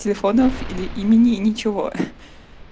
телефонов или имени ничего